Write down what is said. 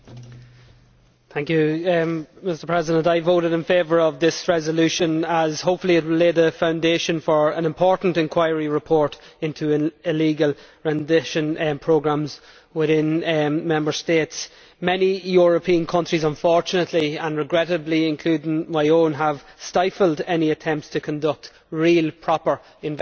Mr President, I voted in favour of this resolution as hopefully it will lay the foundation for an important inquiry report into illegal rendition programmes within Member States. Many European countries unfortunately and regrettably including my own have stifled any attempts to conduct real, proper investigations.